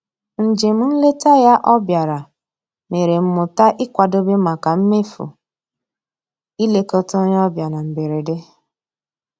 Njem nleta ya ọ bịara mere m mụta ịkwadobe maka mmefu ilekọta onye ọbịa na mberede